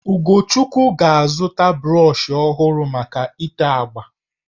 Ugochukwu ga-azụta brọshị ọhụrụ maka itè agbà